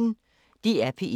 DR P1